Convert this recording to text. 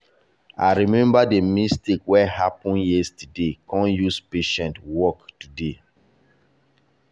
i remember the mistake wey happen yesterday kon use patience work today.